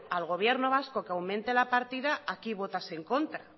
al gobierno vasco que aumente la partida aquí votase en contra